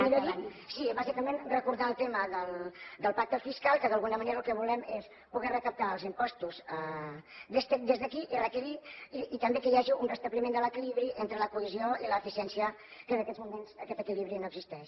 millor dit sí vaig acabant bàsicament recordar el tema del pacte fiscal que d’alguna manera el que volem és poder recaptar els impostos des d’aquí i també que hi hagi un restabliment de l’equilibri entre la cohesió i l’eficiència que en aquests moments aquest equilibri no existeix